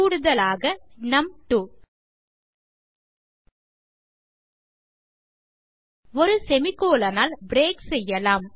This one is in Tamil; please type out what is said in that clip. கூடுதலாக நும்2 ஒரு செமிகோலன் ஆல் பிரேக் செய்யலாம்